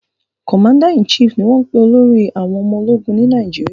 "Commander in chief" ní wón pè olórí àwọn omo ológun Ni Nàìjíríà